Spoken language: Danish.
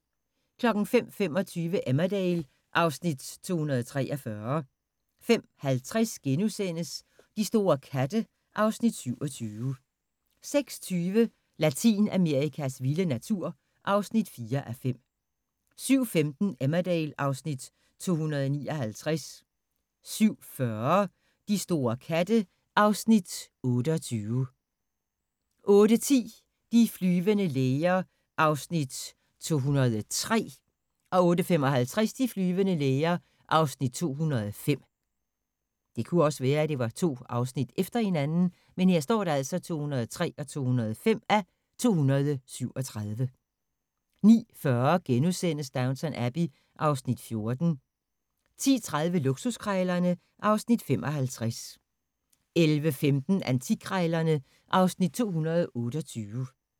05:25: Emmerdale (Afs. 243) 05:50: De store katte (Afs. 27)* 06:20: Latinamerikas vilde natur (4:5) 07:15: Emmerdale (Afs. 259) 07:40: De store katte (Afs. 28) 08:10: De flyvende læger (203:237) 08:55: De flyvende læger (205:237) 09:40: Downton Abbey (Afs. 14)* 10:30: Luksuskrejlerne (Afs. 55) 11:15: Antikkrejlerne (Afs. 228)